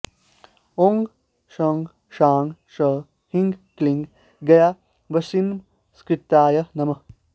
ॐ शं शां षं ह्रीं क्लीं गयावासिनमस्कृताय नमः